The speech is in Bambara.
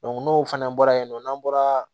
n'o fana bɔra yen nɔ n'an bɔra